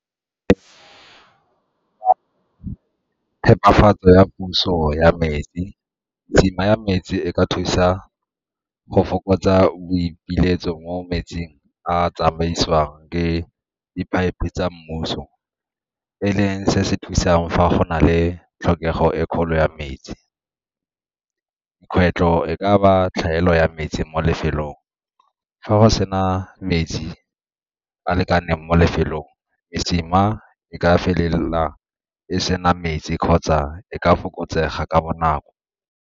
Phepafatso ya puso ya metsi, mesima ya metsi e ka thusa go fokotsa boipiletso mo metsing a tsamaisiwang ke di-pipe tsa mmuso e leng se se thusang fa go na le tlhokego e kgolo ya metsi. Kgwetlho e ka ba tlhaelo ya metsi mo lefelong, fa go sa sena metsi a lekaneng mo lefelong mesima e ka felela e sena metsi kgotsa e ka fokotsega ka bonako.